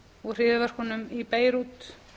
og hryðjuverkunum í beirút